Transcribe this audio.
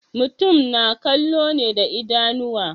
Mutum na kallo ne da idanuwa.